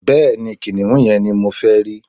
Bẹẹni, kiniun yen ni mo fẹ ri